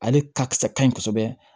Ale ka kisɛ ka ɲi kosɛbɛ